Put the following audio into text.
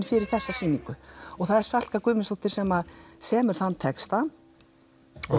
fyrir þessa sýningu og það er Salka Guðmundsdóttir sem semur þann texta og